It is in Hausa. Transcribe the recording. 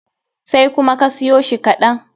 Sai kuma ka soya shi kaɗan.